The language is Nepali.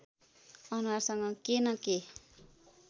अनुहारसँग के न के